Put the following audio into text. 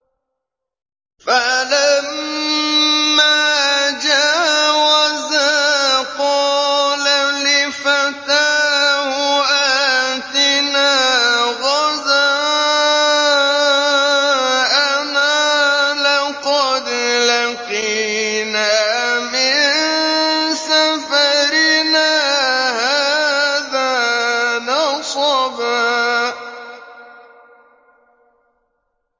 فَلَمَّا جَاوَزَا قَالَ لِفَتَاهُ آتِنَا غَدَاءَنَا لَقَدْ لَقِينَا مِن سَفَرِنَا هَٰذَا نَصَبًا